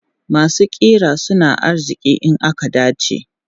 Masu ƙira suna arziki in aka dace.